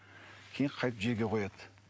кейін қайтіп жерге қояды